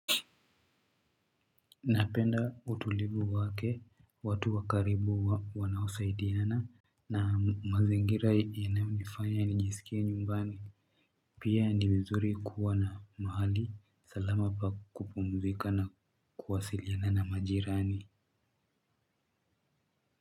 Napenda utulivu wake, watu wa karibu wanaosaidiana. Na mazingira yanayonifanya anijisikia nyumbani. Pia ni vizuri kuwa na mahali salama pa kupumzika na kuwasiliana na majirani.